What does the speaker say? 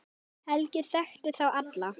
Helgi þekkti þá alla.